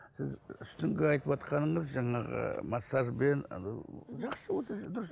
сіз үстіңгі айтыватқаныңыз жаңағы массажбен анау